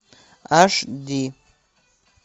аш ди